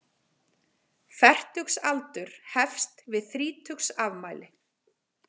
Fertugsaldur hefst við þrítugsafmæli.